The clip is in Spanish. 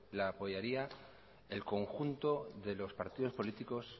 la apoyaría el conjunto de los partidos políticos